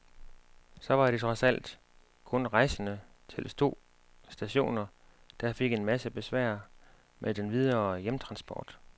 Så var det trods alt kun rejsende til to stationer, der fik en masse besvær med den videre hjemtransport.